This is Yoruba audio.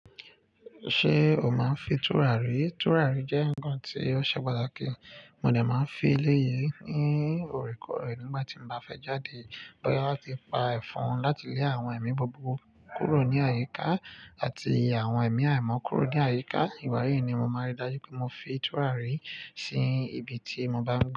Ṣé o máa ń fi tùràrí? Tùràrí jẹ́ nkan tí ó ṣe pàtàkì. Mo de máa ń fin eléyìí ní òorèkóòrè nígbà tí n bá fẹ́ jáde bọ́yá láti pa ẹ̀fọn láti lé àwọn ẹ̀mí buburu kúrò ní àyíká àti àwọn ẹ̀mí àìmọ́ kúrò ní àyíká. Ìgbá yìí ni mo máa ri dájú pé mo fin tùràrí sí ibi tí mo bá ń.